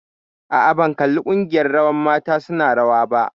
Aa, ban kalli ƙungiyar rawar mata su na rawa ba